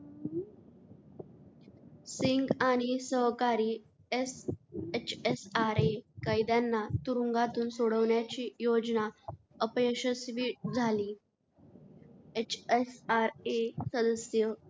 सिंग आणि सहकारी एस hsra कैद्यांना तुरुंगातून सोडवण्याची योजना अपयशस्वी झाली. hsra सदस्य,